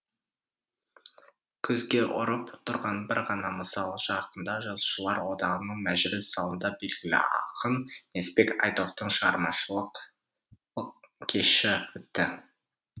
көзге ұрып тұрған бір ғана мысал жақында жазушылар одағының мәжіліс залында белгілі ақын несіпбек айтовтың шығармашылық кеші өтті